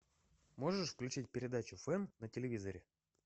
можешь включить передачу фэн на телевизоре